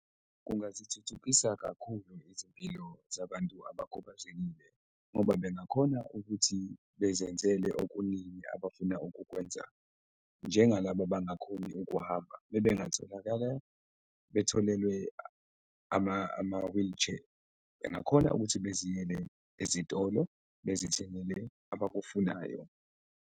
Kungazithuthukisa kakhulu izimpilo zabantu abakhubazekile ngoba bengakhona ukuthi bezenzele okuningi abafuna ukukwenza njengalaba abangakhoni ukuhamba, bebengatholakala betholelwe ama-wheelchair, bengakhona ukuthi beziyele ezitolo bezithengele abakufunayo.